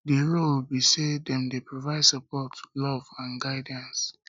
di role be say dem dey provide support love and guidance